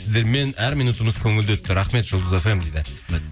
сіздермен әр минутымыз көңілді өтті рахмет жұлдыз фм дейді